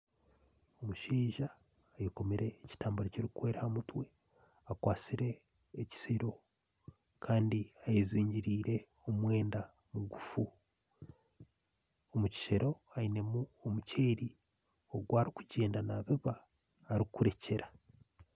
Omushaija ayekomire ekitambaare kirikwera aha mutwe. Akwastire ekisero kandi ayezingiriire omwenda mugufu. Omu kishero ainemu omuceeri ogu arikugyenda naabiba arikurekyera.